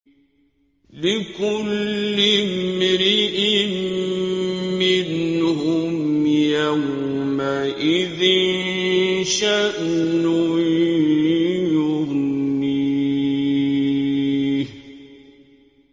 لِكُلِّ امْرِئٍ مِّنْهُمْ يَوْمَئِذٍ شَأْنٌ يُغْنِيهِ